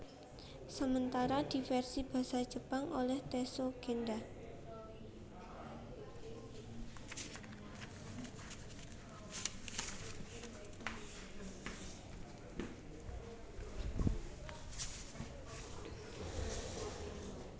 Sementara di versi basa Jepang oleh Tessho Gendha